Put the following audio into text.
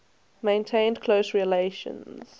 maintained close relations